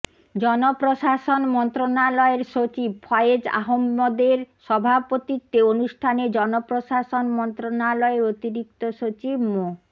জনপ্রশাসন মন্ত্রণালয়ের সচিব ফয়েজ আহম্মদের সভাপতিত্বে অনুষ্ঠানে জনপ্রশাসন মন্ত্রণালয়ের অতিরিক্ত সচিব মো